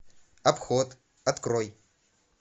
обход открой